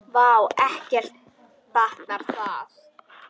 Vá, ekki batnar það!